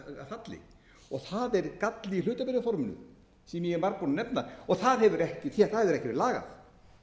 falli það er galli í hlutabréfaforminu sem ég er margbúinn að nefna það hefur ekki verið lagað